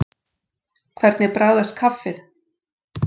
Hvernig bragðast kaffið?